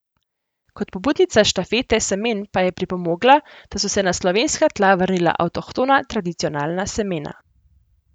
Kot pobudnica Štafete semen pa je pripomogla, da so se na slovenska tla vrnila avtohtona tradicionalna semena.